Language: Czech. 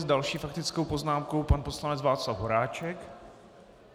S další faktickou poznámkou pan poslanec Václav Horáček.